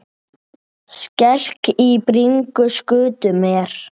Skelk í bringu skutu mér.